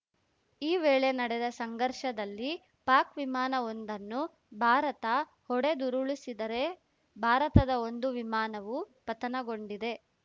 ಈ ವೇಳೆ ನಡೆದ ಸಂಘರ್ಷದಲ್ಲಿ ಪಾಕ್‌ ವಿಮಾನವೊಂದನ್ನು ಭಾರತ ಹೊಡೆದುರುಳಿಸಿದರೆ ಭಾರತದ ಒಂದು ವಿಮಾನವೂ ಪತನಗೊಂಡಿದೆ